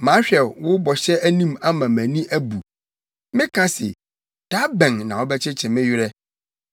Mahwɛ wo bɔhyɛ anim ama mʼani abu; meka se, “Da bɛn na wobɛkyekye me werɛ?”